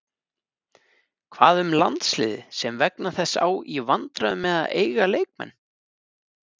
Hvað um landsliðið sem vegna þess á í vandræðum með að eiga leikmenn?